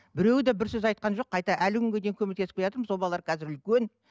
біреуі де бір сөз айтқан жоқ қайта әлі күнге дейін көмектесіп келатырмыз сол балалар қазір үлкен